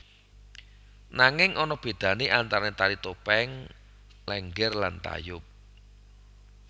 Nanging ana bedane antarane Tari Topeng Lénggér lan Tayub